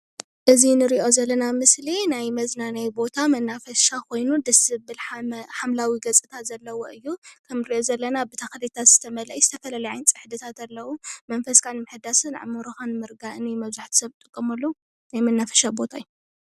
እዚ እንሪኦ ዘለና ምስሊ ናይ መዝናነዪ ቦታ መናፈሻ ኾይኑ ደስ ዘብል ሓምላዋ ገፅታ ዘለዎ እዩ። እቱ እንሪኦ ዘለና ብተኽልታት ዝተመልአ ዝተፈላለየ ዓይነት ፅሕዲታት ኣለው መንፈስካ ንምሕዳስን ኣእምሮካን ንምርጋዕን ዝጥቀምሉ እዩ።